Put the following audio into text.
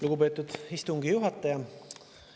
Lugupeetud istungi juhataja!